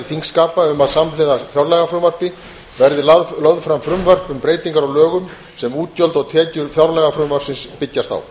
þingskapa um að samhliða fjárlagafrumvarpi verði lögð fram frumvörp um breytingar á lögum sem útgjöld og tekjur fjárlagafrumvarpsins byggjast á